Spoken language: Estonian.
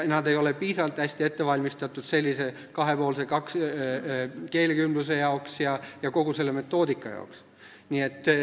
Nad ei ole piisavalt hästi ette valmistatud kahepoolseks keelekümbluseks ja kogu selle metoodika jaoks.